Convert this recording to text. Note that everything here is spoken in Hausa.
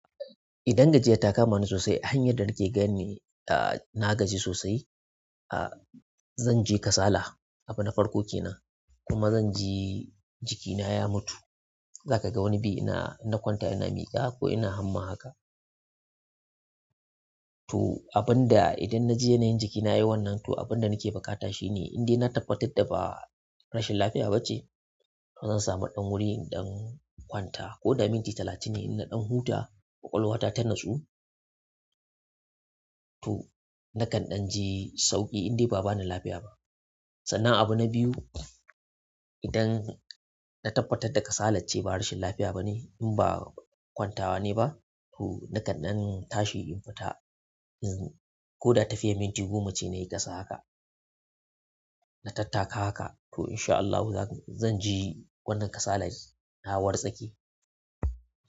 Idan gajiya ta kama ni sosai, hanyar da nake gan ne, ah, na gaji sosai, ah, zan ji kasala abu na farko ke nan kuma zan ji jikina ya mutu. Za ka ga wani biyi ina, ina kwanta ina miƙa ko ina hamma haka. To, abin da idan na ji yanayin jikina yayi wannan, to abin da nake buƙata shine indai na tabbatar da ba rashin lafiya bace. To zan sami ɗan wuri idan kwanta ko da minti talatin ne in na ɗan huta, ƙwaƙwalwa ta tannasu. To, nakan ɗan ji sauƙi indai ba bani lafiya ba. Sannan abu na biyu, idan na tabbatar da kasalace ba rashin lafiya bane, in ba kwantawa nayi ba, to nakan ɗan tashi in fita in ko da tafiya minti goma ce nayi ƙasa haka, na tattaka haka to in sha Allahu za ku-- zan ji wannan kasalaci ya warsake.